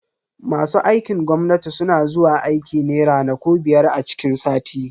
Masu aikin gwamnati suna zuwa aiki ne ranaku biyar a ciki sati.